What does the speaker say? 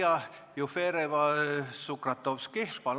Maria Jufereva-Sukratovski, palun!